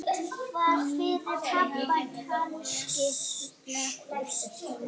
Nítján létust.